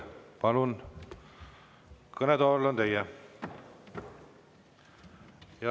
Palun, kõnetool on teie.